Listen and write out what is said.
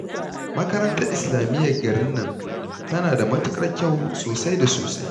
Makarantar islamiyyar garin nan tana da matuƙar kyau sosai da sosai